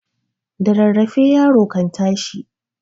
da rarrafe yaro kan tashi